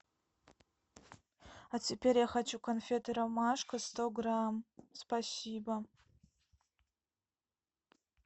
а теперь я хочу конфеты ромашка сто грамм спасибо